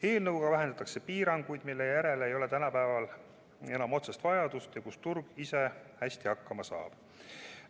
Eelnõuga vähendatakse piiranguid, mille järele ei ole tänapäeval enam otsest vajadust, milleta turg ise hästi hakkama saab.